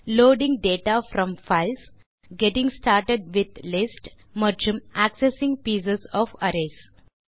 loading data from files getting started with lists மற்றும் accessing piece of arrays